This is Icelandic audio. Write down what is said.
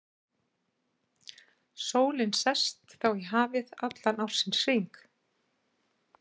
Sólin sest þá í hafið allan ársins hring.